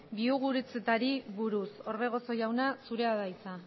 biogurutzetari buruz orbegozo jauna zurea da hitza